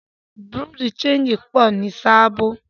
Bùrúdì ṣẹegì pọ̀ jù ni Sábò.